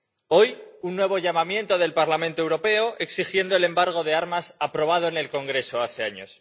Hoy, un nuevo llamamiento del Parlamento Europeo exigiendo el embargo de armas aprobado en el Congreso hace años.